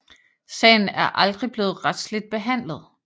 Sagen er aldrig blevet retsligt behandlet